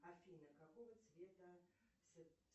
афина какого цвета